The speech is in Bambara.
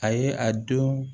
A ye a don